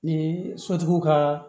Ni sotigiw ka